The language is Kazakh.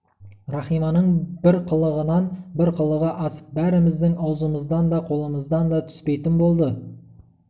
рахиманың бір қылығынан бір қылығы асып бәріміздің аузымыздан да қолымыздан да түспейтін болды